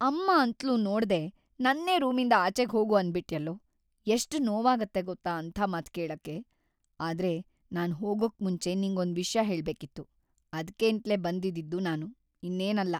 ಅಮ್ಮ ಅಂತ್ಲೂ ನೋಡ್ದೇ ನನ್ನೇ ರೂಮಿಂದ ಆಚೆ ಹೋಗು ಅಂದ್ಬಿಟ್ಯಲ್ಲೋ, ಎಷ್ಟ್‌ ನೋವಾಗತ್ತೆ ಗೊತ್ತಾ ಅಂಥ ಮಾತ್‌ ಕೇಳಕ್ಕೆ. ಆದ್ರೆ ನಾನ್‌ ಹೋಗಕ್ಮುಂಚೆ ನಿಂಗೊಂದ್‌ ವಿಷ್ಯ ಹೇಳ್ಬೇಕಿತ್ತು. ಅದ್ಕೇಂತ್ಲೇ ಬಂದಿದ್ದಿದ್ದು ನಾನು, ಇನ್ನೇನಲ್ಲ.